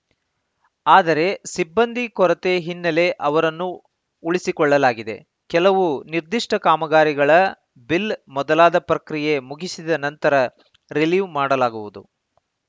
ಆದರೆ ಸಿಬ್ಬಂದಿ ಕೊರತೆ ಹಿನ್ನೆಲೆ ಅವರನ್ನು ಉಳಿಸಿಕೊಳ್ಳಲಾಗಿದೆ ಕೆಲವು ನಿರ್ದಿಷ್ಟಕಾಮಗಾರಿಗಳ ಬಿಲ್‌ ಮೊದಲಾದ ಪ್ರಕ್ರಿಯೆ ಮುಗಿಸಿದ ನಂತರ ರಿಲೀವ್‌ ಮಾಡಲಾಗುವುದು